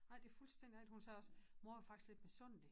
Nej det fuldstændig rigtig hun sagde også mor jeg var faktisk lidt misundelig